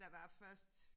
Der var først